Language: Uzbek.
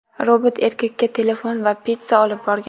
Robot erkakka telefon va pitssa olib borgan.